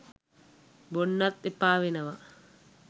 බොන්නත් එපා වෙනවා.